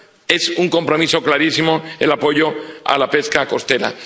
Es un compromiso clarísimo el apoyo a la pesca costera.